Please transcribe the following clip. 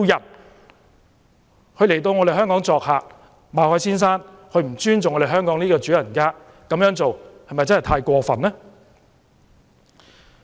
馬凱先生來港作客，卻不尊重香港這位主人家，這是否太過分呢？